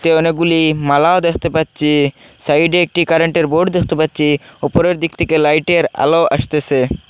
এখানে অনেকগুলি মালাও দেখতে পাচ্ছি সাইডে একটি কারেন্টে র বোর্ড দেখতে পাচ্ছি উপরের দিক থেকে লাইটে র আলো আসতেসে।